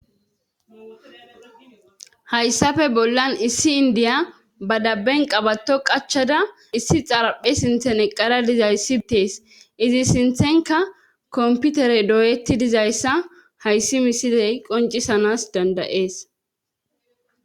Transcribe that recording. Hayssafe bollan issi indiya ba dabben qabato qachada issi xaraphe sinthen eqqara dizays sitees izi sinthenka komputere dooyetti dizayssa hayssi misidey qoncisanas dandayees.